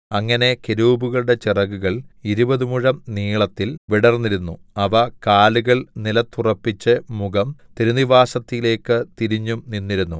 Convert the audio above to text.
അങ്ങനെ കെരൂബുകളുടെ ചിറകുകൾ ഇരുപതു മുഴം നീളത്തിൽ വിടർന്നിരുന്നു അവ കാലുകൾ നിലത്തുറപ്പിച്ച് മുഖം തിരുനിവാസത്തിലേക്ക് തിരിഞ്ഞും നിന്നിരുന്നു